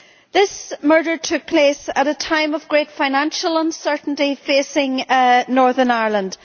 This murder took place at a time of great financial uncertainty facing Northern Ireland.